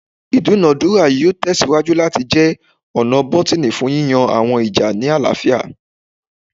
Idunadura yoo tẹsiwaju lati jẹ ọna bọtini fun yiyan awọn ija ni alaafia